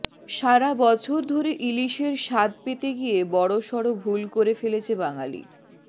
সারা বছর ধরে ইলিশের স্বাদ পেতে গিয়ে বড়সড় ভুল করে ফেলেছে বাঙালি